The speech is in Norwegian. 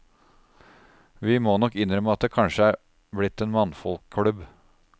Vi må nok innrømme at det kanskje er blitt en mannfolkklubb.